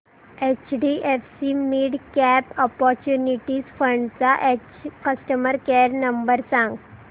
HDFC midcap opportunities fund चा customer care number सांग